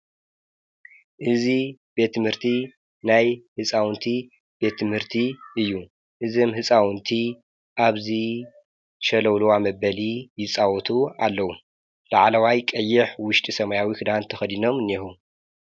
እዚ ቤት ምህርቲ ናይ ሕፃውንቲ ቤት ምህርቲ እዩ እዝም ሕፃውንቲ ኣብዙ ሸለውሎዋ መበሊ ይጻውቱ ኣለዉ ለዓለዋይ ቀይሕ ውሽጢ ሰማያዊ ኽዳን ተኸዲኖም እኔዉ።